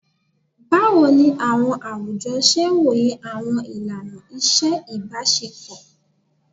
Bawo ni awọn awujọ ṣe woye awọn ilana iṣe ibaṣepọ?